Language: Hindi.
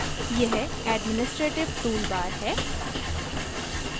यह administrative toolbar है